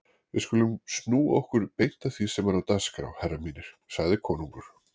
Við skulum snúa okkur beint að því sem er á dagskrá herrar mínir, sagði konungur.